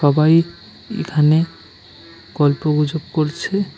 সবাই এখানে গল্প গুজব করছে।